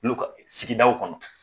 Olu ka sigidaw kɔnɔ.